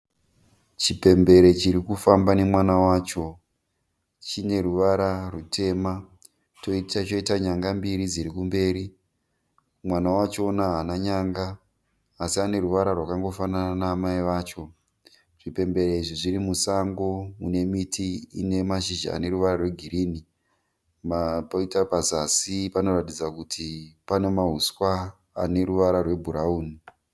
Chipembere chiri kufamba nemwana wacho. Chine ruvara rutema choita nyanga mbiri dziri kumberi. Mwana wachona haana nyanga asi ane ruvara rwangofanana naamaivacho. Zvipembere izvi zviri musango mune miti ine mashizha egirini. Poita pazasi panoratidza kuti pane mahuswa ane ruvara rwebhurauni.